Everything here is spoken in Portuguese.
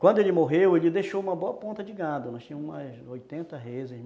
Quando ele morreu, ele deixou uma boa ponta de gado, nós tínhamos umas oitenta